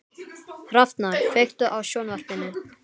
Hrafnar, kveiktu á sjónvarpinu.